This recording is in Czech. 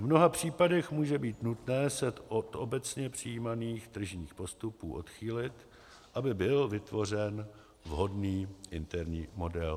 V mnoha případech může být nutné se od obecně přijímaných tržních postupů odchýlit, aby byl vytvořen vhodný interní model.